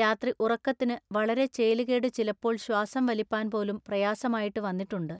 രാത്രി ഉറക്കത്തിനു വളരെ ചേലുകേടു ചിലപ്പോൾ ശ്വാസം വലിപ്പാൻപോലും പ്രയാസമായിട്ടു വന്നിട്ടുണ്ടു.